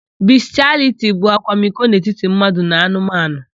Bistịaliti bụ akwamiko n'etiti mmadụ na anụmanụ.